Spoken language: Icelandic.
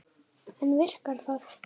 En virkar það?